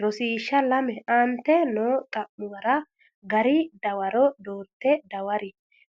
Rosiishsha Lame Aante noo xa’muwara gari dawaro doorte dawaro